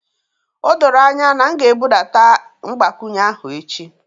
O doro anya na m ga-ebudata mgbakwunye ahụ echi